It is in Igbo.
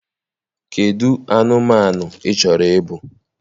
Kedụ anụmanụ ị chọrọ ịbụ: